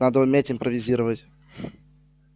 надо уметь импровизировать